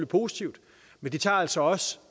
positivt men de tager altså også